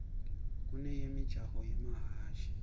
kuneyemijaho yemahhashi